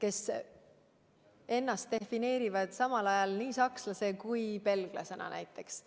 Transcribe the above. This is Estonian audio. kes peavad ennast samal ajal nii sakslaseks kui ka belglaseks näiteks.